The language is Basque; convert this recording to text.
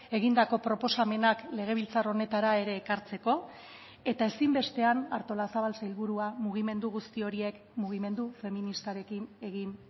egindako proposamenak legebiltzar honetara ere ekartzeko eta ezinbestean artolazabal sailburua mugimendu guzti horiek mugimendu feministarekin egin